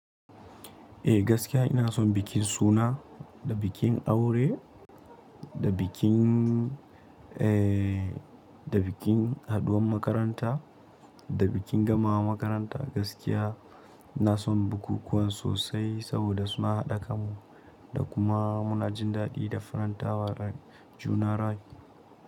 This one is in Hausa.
Eh gaskiya ina son bikin suna da bikin aure da bikin, eh da bikin haɗuwan makaranta, da bikin gamawa makaranta. Gaskiya ina son bukukuwan sosai saboda suna haɗa kan mu, da kuma muna jin daɗi da farantawa rai, juna rai.